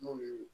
N'o ye